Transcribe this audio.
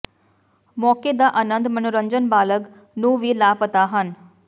ਮੌਕੇ ਦਾ ਆਨੰਦ ਮਨੋਰੰਜਨ ਬਾਲਗ ਨੂੰ ਵੀ ਲਾਪਤਾ ਹਨ